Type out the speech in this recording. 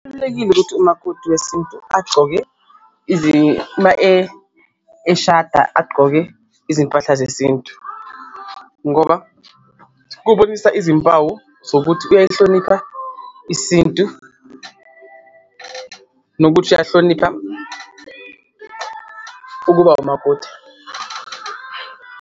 Kubalulekile ukuthi umakoti wesintu agcoke uma eshada agqoke izimpahla zesintu ngoba kubonisa izimpawu zokuthi uyayihlonipha isintu, nokuthi uyahlonipha ukuba umakoti.